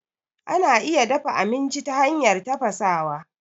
Ana iya dafa aminci ta hanyar tafasawa.